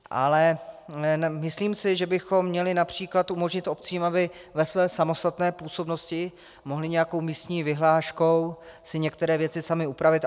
Ale myslím si, že bychom měli například umožnit obcím, aby ve své samostatné působnosti mohly nějakou místní vyhláškou si některé věci samy upravit.